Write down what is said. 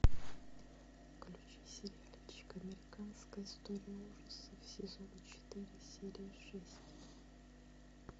включи сериальчик американская история ужасов сезон четыре серия шесть